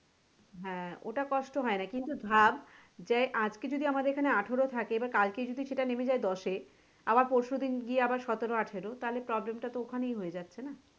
হ্যাঁ ওটা কষ্ট হয়না কিন্তু ভাব যে আজকে যদি আমাদের এখানে আঠেরো থাকে এবার কালকে যদি সেটা নেমে যায় দশে আবার পরশু দিন গিয়ে সতেরো আঠেরো তাহলে problem টা তো ওখানেই হয়ে যাচ্ছে না?